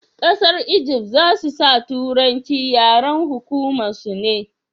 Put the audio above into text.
ƙasar Ijift za su sa turanci yaren hukuma su ne?